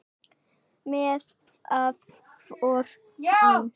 Með það fór hann.